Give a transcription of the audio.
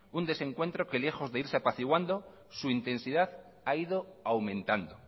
un desencuentro que lejos de irse apaciguando su intensidad ha ido aumentando